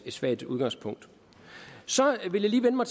et svagt udgangspunkt jeg vil lige vende mig